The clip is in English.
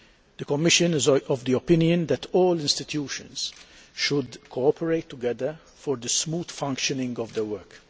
The Commission is of the opinion that all the institutions should cooperate together for the smooth functioning of their work.